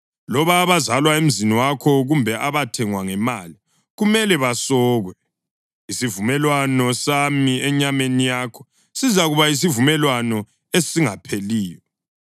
Loba abazalwa emzini wakho kumbe abathengwa ngemali, kumele basokwe. Isivumelwano sami enyameni yakho sizakuba yisivumelwano esingapheliyo.